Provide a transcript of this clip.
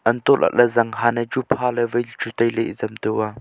untoh lahley zanghan e chu phaley wai chu tailey ezam to a.